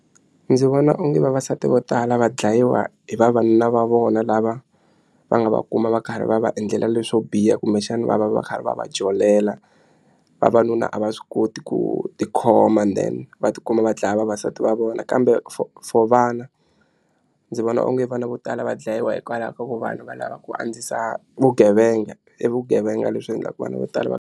Ndzi vona onge vavasati vo tala va dlayiwa hi vavanuna va vona lava va nga va kuma va karhi va va endlela leswo biha kumbexana va va va karhi va va jolela vavanuna a va swi koti ku tikhoma then va tikuma va dlaya vavasati va vona kambe for for vana ndzi vona onge vana vo tala va dlayiwa hikwalaho ka ku vanhu va lava ku andzisa vugevenga i vugevenga leswi endlaku vana vo tala.